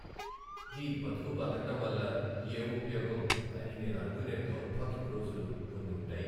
ఈ బతుకు బతకడం వల్ల ఏం ఉపయోగం అని నేను అనుకునే దౌర్భాగ్యపు రోజులు కొన్ని ఉంటాయి.